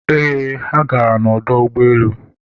eeh, ha gara na ọdọ ụgbọelu